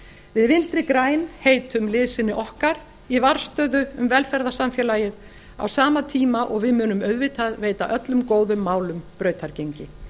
við vinstri græn heitum liðsinni okkar í varðstöðu um velferðarsamfélagið á sama tíma og við munum auðvitað veita öllum góðum málum brautargengi